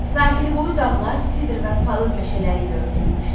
Sahilboyu dağlar sidr və palıd meşələri ilə örtülmüşdü.